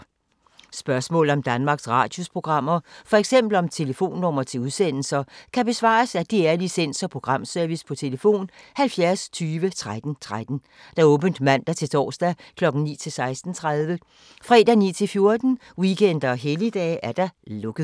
Spørgsmål om Danmarks Radios programmer, f.eks. om telefonnumre til udsendelser, kan besvares af DR Licens- og Programservice: tlf. 70 20 13 13, åbent mandag-torsdag 9.00-16.30, fredag 9.00-14.00, weekender og helligdage: lukket.